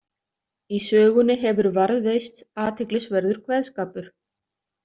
Í sögunni hefur varðveist athyglisverður kveðskapur.